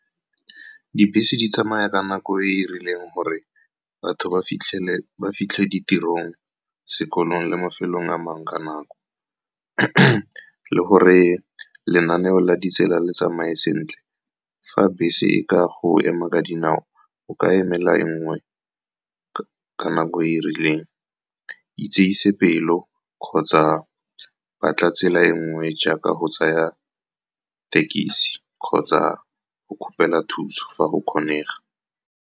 Dibese di tsamaya ka nako e e rileng gore batho ba fitlhele ba fitlhe ditirong, sekolong le mafelong a mangwe ka nako le gore lenaneo la ditsela le tsamae sentle fa bese e ka go ema ka dinao o ka emela e nngwe ka nako e rileng itsese pelo kgotsa ba tla tsela e nngwe jaaka go tsaya thekisi kgotsa go kgopela thuso fa go kgonega.